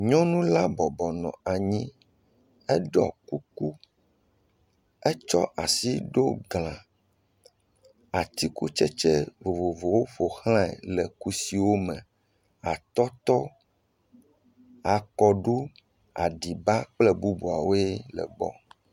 Nyɔnu la bɔbɔ nɔ anyi, eɖɔ kuku, etsɔ asi ɖo gla, atikutsetse vovovowo ƒo xlae, le kusiwo me, atɔtɔ, akɔɖu, aɖiba kple bubuawoe le gbɔ.